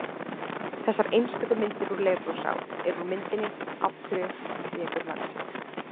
Þessar einstöku myndir úr Leirvogsá eru úr myndinni Af hverju tekur laxinn?